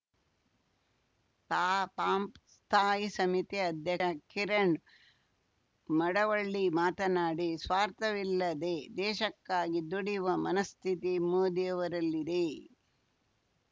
ತಾಪಂ ಸ್ಥಾಯಿ ಸಮಿತಿ ಅಧ್ಯ ಕಿರಣ್‌ ಮಡವಳ್ಳಿ ಮಾತನಾಡಿ ಸ್ವಾರ್ಥವಿಲ್ಲದೆ ದೇಶಕ್ಕಾಗಿ ದುಡಿಯುವ ಮನಸ್ಥಿತಿ ಮೋದಿಯವರಲ್ಲಿದೆ